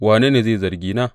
Wane ne mai zargina?